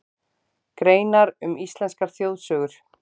Greinar um íslenskar þjóðsögur.